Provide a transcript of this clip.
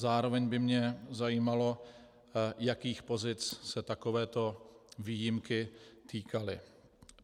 Zároveň by mě zajímalo, jakých pozic se takovéto výjimky týkaly.